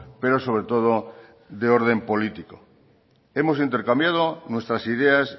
pero sobre todo de orden político hemos intercambiado nuestras ideas